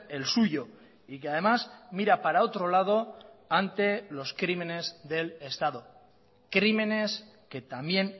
el suyo y que además mira para otro lado ante los crímenes del estado crímenes que también